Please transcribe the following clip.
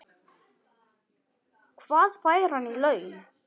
Hvað fær hann í laun?